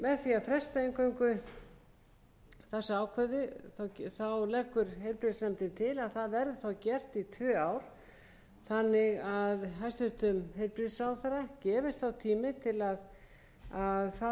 með því að fresta þessu ákvæði eingöngu leggur heilbrigðisnefnd til að það verði gert í tvö ár þannig að hæstvirtur heilbrigðisráðherra